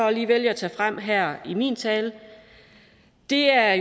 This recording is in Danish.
jeg vælger at tage frem her i min tale er